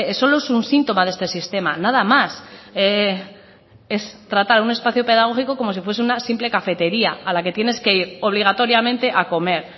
solo es un síntoma de este sistema nada más es tratar un espacio pedagógico como si fuese una simple cafetería a la que tienes que ir obligatoriamente a comer